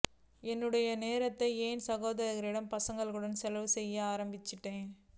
என்னுடைய நேரத்தை என் சகோதரரின் பசங்களுக்காக செலவு செய்ய ஆரம்பிச்சேன்